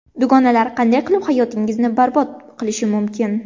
Dugonalar qanday qilib hayotingizni barbod qilishi mumkin?.